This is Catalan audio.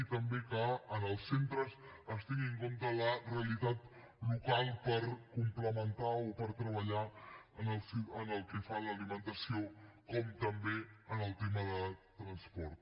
i també que en els centres es tingui en compte la realitat local per complementar o per treballar pel que fa a l’alimentació com també en el tema de transport